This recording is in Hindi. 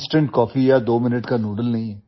इंस्टेंट कॉफी या दो मिनट का नूडल्स नहीं हैं